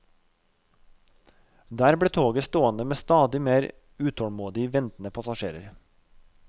Der ble toget stående med stadig mer utålmodig ventende passasjerer.